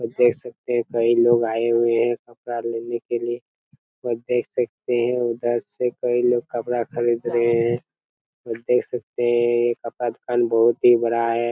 और देख सकते है कई लोग आये हुए है कपड़ा लेने के लिए और देख सकते है और दस रुपये में कपड़ा खरीद रहे है और देख सकते है ये कपडा दुकान बहुत ही बड़ा है।